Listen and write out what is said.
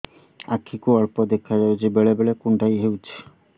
ଆଖି କୁ ଅଳ୍ପ ଦେଖା ଯାଉଛି ବେଳେ ବେଳେ କୁଣ୍ଡାଇ ହଉଛି